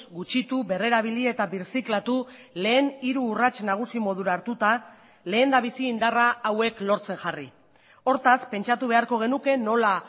gutxitu berrerabili eta birziklatu lehen hiru urrats nagusi modura hartuta lehendabizi indarra hauek lortzen jarri hortaz pentsatu beharko genuke nola